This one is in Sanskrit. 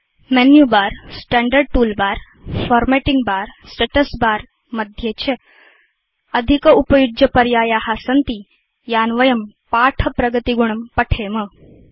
menu bar standard toolbar formatting bar status bar मध्ये च अधिकोपयुज्यपर्याया सन्ति यान् वयं पाठ प्रगतिगुणं पठेम